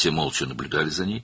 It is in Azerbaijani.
Hamı səssizcə onu müşahidə edirdi.